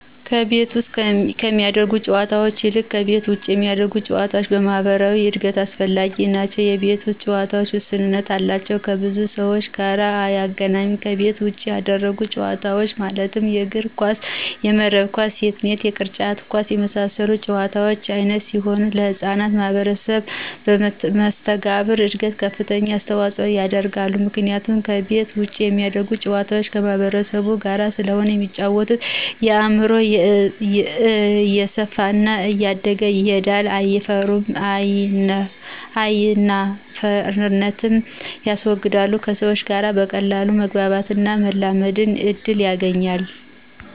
ከቤት ውስጥ ከሚደረጉ ጨዎታዎች ይልቅ ከቤት ውጭ የሚደረጉ ጨዎታዎች ለማህበራዊ እድገት አስፈላጊዎች ናቸው የቤት ውስጥ ጨዎታዎች ውስንነት አላቸው ከብዙ ሰዎች ጋር አያገናኙም ከቤት ውጭ የሚደረጉት ጨዎታዎች ማለትም የእግር ኳስ :የመረብ ኳስ :ቴንስ የቅርጫት ኳስ የመሳሰሉት የጨዎታ አይነቶች ሲሆኑ ለህጻናት ማህበራዊ መሰተጋብር እድገት ከፍተኛ አስተዋጽኦ ያደርጋሉ ምክንያቱም ከቤት ውጭ የሚደረጉ ጨዋታዎች ከማህበረሰቡ ጋር ስለሆነ የሚጫወተው አእምሮው እየሰፋና እያደገ ይሄዳል አይናፋርነትንም ያስወግዳል ከሰዎች ጋር በቀላሉ ለመግባባትና ለመላመድ እድል ያገኛል።